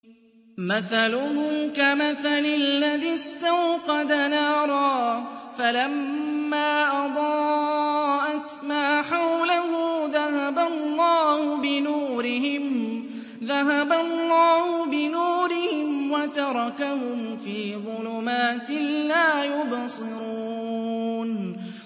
مَثَلُهُمْ كَمَثَلِ الَّذِي اسْتَوْقَدَ نَارًا فَلَمَّا أَضَاءَتْ مَا حَوْلَهُ ذَهَبَ اللَّهُ بِنُورِهِمْ وَتَرَكَهُمْ فِي ظُلُمَاتٍ لَّا يُبْصِرُونَ